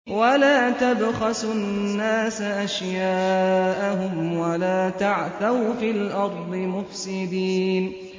وَلَا تَبْخَسُوا النَّاسَ أَشْيَاءَهُمْ وَلَا تَعْثَوْا فِي الْأَرْضِ مُفْسِدِينَ